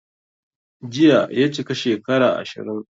Jiya ya chika shekara 20